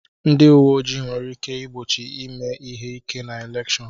Ndị uwe ojii nwere ike igbochi ime ihe ike na elèkshón